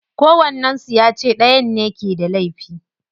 Kowannen su ya ce dayan ne ke da laifi.